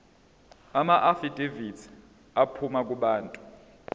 amaafidavithi aphuma kubantu